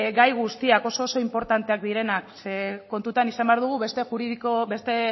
gai guztiak oso oso inportanteak direnak ze kontutan izan behar dugu beste